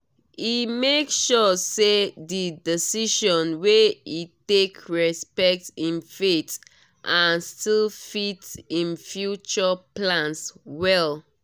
e make sure say di decision wey e take respect im faith and still fit im future plans well.